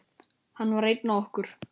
Hann var einn af okkur.